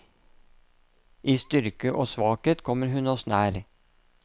I styrke og svakhet kommer hun oss nær.